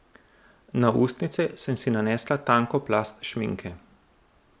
Na ustnice sem si nanesla tanko plast šminke.